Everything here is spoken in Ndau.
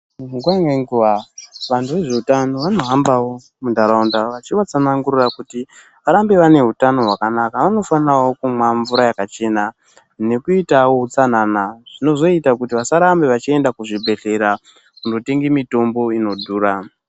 Nguwa ngenguwa vanhu vezveutano vanohambawo vachivatsanangurira kuti varambe vane hutano hwakanaka vanofanira kumwawo mvura yakachena nekuitawonutsanana zvinozoita kuti vasarambe vachienda kuzvibhehlera kunotenge mitombo inodhura.